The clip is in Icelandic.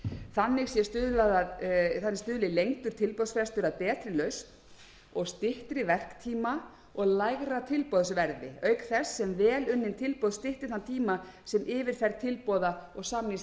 þannig stuðli lengdur tilboðsfrestur að betri lausn og styttri verktíma og lægra tilboðsverði auk þess sem vel unnin tilboð stytti þann tíma sem yfirferð tilboða og samningsgerð krefjast sem